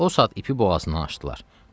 O saat ipi boğazından açdılar.